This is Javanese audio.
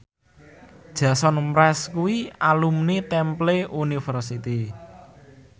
Jason Mraz kuwi alumni Temple University